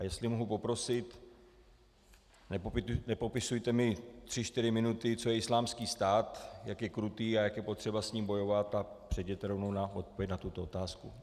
A jestli mohu poprosit, nepopisujte mi tři čtyři minuty, co je Islámský stát, jak je krutý a jak je potřeba s ním bojovat, tak přejděte rovnou na odpověď na tuto otázku.